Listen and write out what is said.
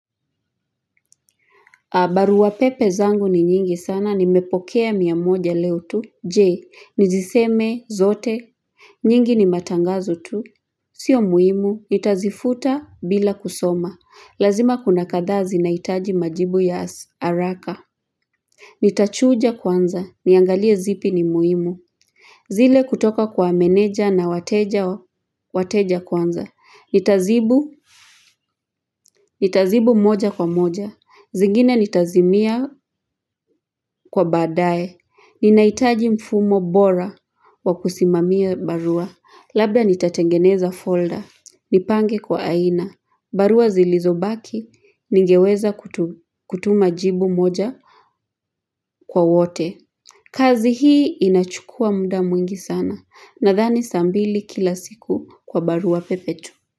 Barua pepe zangu ni nyingi sana, nimepokea mia moja leo tu, je, niziseme zote. Nyingi ni matangazo tu. Sio muhimu, nitazifuta bila kusoma. Lazima kuna kadhaa zinahitaji majibu ya haraka. Nitachuja kwanza, niangalie zipi ni muhimu. Zile kutoka kwa meneja na wateja kwanza. Nitazibu. Nitazibu moja kwa moja. Zingine nitazimia kwa badae. Ninahitaji mfumo bora wa kusimamia barua labda nitatengeneza folder nipange kwa aina barua zilizobaki ningeweza kutuma jibu moja kwa wote kazi hii inachukua muda mwingi sana nadhani saa mbili kila siku kwa barua pepe tu.